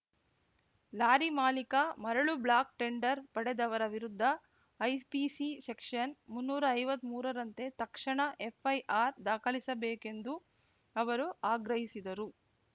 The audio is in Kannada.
ಲಾರಿ ಮಾಲೀಕ ಮರಳು ಬ್ಲಾಕ್‌ ಟೆಂಡರ್‌ ಪಡೆದವರ ವಿರುದ್ಧ ಐಪಿಸಿ ಸೆಕ್ಷನ್‌ ಮುನ್ನೂರೈವತ್ಮೂರರಂತೆ ತಕ್ಷಣ ಎಫ್‌ಐಆರ್‌ ದಾಖಲಿಸಬೇಕೆಂದು ಅವರು ಆಗ್ರಹಿಸಿದರು